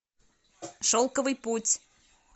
шелковый путь